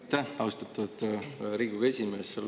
Aitäh, austatud Riigikogu esimees!